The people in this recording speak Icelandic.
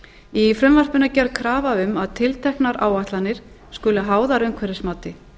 í frumvarpinu er gerð krafa um að tilteknar áætlanir skulu háðar umhverfismati